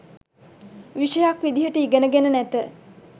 විෂයක් විදියට ඉගෙනගෙන නැත